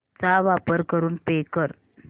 चा वापर करून पे कर